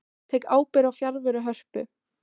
Tek ábyrgð á fjarveru Hörpu